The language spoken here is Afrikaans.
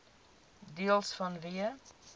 deels vanweë